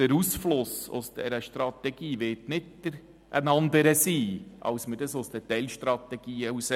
Der Ausfluss aus dieser Strategie wird nicht ein anderer sein, als wir ihn bei den Teilstrategien haben.